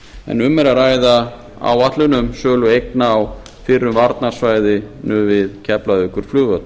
en um er að ræða áætlun um sölu eigna á fyrrum varnarsvæði við keflavíkurflugvöll